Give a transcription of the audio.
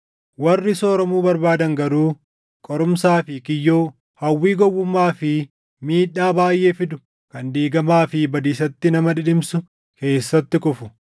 Warri sooromuu barbaadan garuu qorumsaa fi kiyyoo, hawwii gowwummaa fi miidhaa baayʼee fidu kan diigamaa fi badiisatti nama dhidhimsu keessatti kufu.